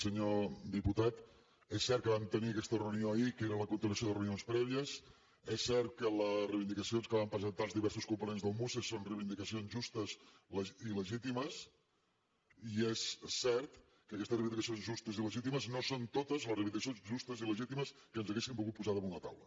senyor diputat és cert que vam tenir aquesta reunió ahir i que era la continuació de reunions prèvies és cert que les reivindicacions que van presentar els diversos components del muce són reivindicacions justes i legítimes i és cert que aquestes reivindicacions justes i legítimes no són totes les reivindicacions justes i legítimes que ens haguessin volgut posar damunt la taula